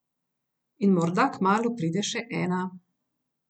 In morda kmalu pride še ena ...